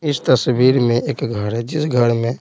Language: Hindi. इस तस्वीर में एक घर है जिस घर में--